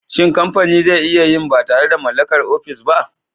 Shin kamfani zai iya yin ba tare da mallakar ofis ba?